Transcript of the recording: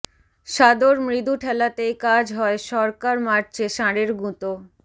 সাদর মৃদু ঠেলাতেই কাজ হয় সরকার মারছে ষাঁড়ের গুঁতো